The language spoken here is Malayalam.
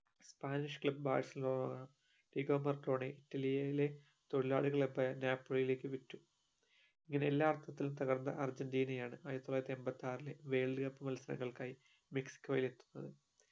Spanish club ബാർസിലോണ ഇലെ തൊഴിലാളി ഇലെക് വിറ്റു ഇങ്ങനെ എല്ലാ അർത്ഥത്തിലും തകർന്ന അർജന്റീനയാണ് ആയിരത്തി തൊള്ളായിരത്തി എൺപത്തി ആറിലെ world cup മത്സരങ്ങൾക്കായി മെക്സിക്കോയിൽ എത്തുന്നത്